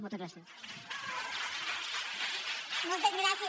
moltes gràcies